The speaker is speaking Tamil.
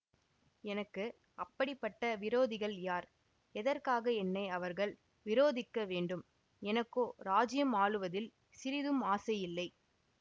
எனக்கு அப்படிப்பட்ட விரோதிகள் யார் எதற்காக என்னை அவர்கள் விரோதிக்க வேண்டும் எனக்கோ இராஜ்யம் ஆளுவதில் சிறிதும் ஆசை இல்லை